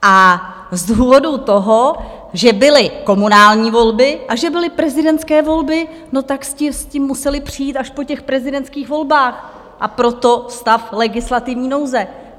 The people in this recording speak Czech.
A z důvodu toho, že byly komunální volby a že byly prezidentské volby, tak jste s tím museli přijít až po těch prezidentských volbách, a proto stav legislativní nouze.